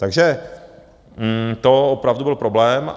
Takže to opravdu byl problém.